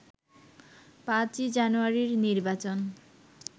৫ই জানুয়ারির নির্বাচন